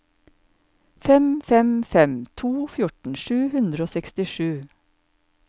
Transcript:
fem fem fem to fjorten sju hundre og sekstisju